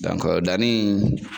danni